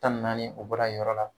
Tan ni naani o bɔra yen yɔrɔ la.